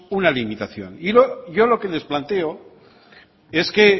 una limitación y yo lo que es planteo es que